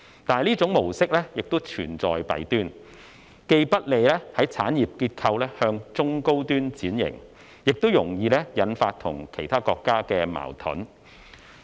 但是，這種模式亦存在弊端，既不利於產業結構向中高端轉型，也容易引發與其他國家的矛盾。